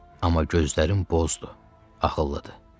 Amma gözlərin bozdur, ağıllıdır.